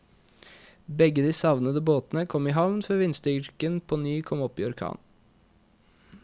Begge de savnede båtene kom i havn før vindstyrken kom opp i orkan.